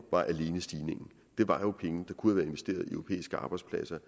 det var jo penge der kunne investeret i europæiske arbejdspladser